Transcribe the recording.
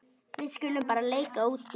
Við skulum bara leika úti.